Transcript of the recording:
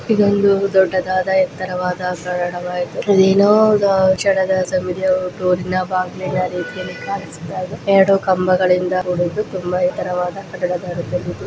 ಇದೊಂದು ದೊಡ್ಡದಾದ ಎತ್ತರವಾದ ಸರಳವಾದ ಏನೋ ಸಮಯದ ಡೋರಿನ ಬಾಗಿಲ ರೀತಿ ಕಾಣಿಸ್ತಾ ಇದೆ. ಎರಡು ಕಂಬಗಳಿಂದ ಕೂಡಿದೆ ತುಂಬಾ ಎತ್ತರವಾದ ಕಟ್ಟಡ.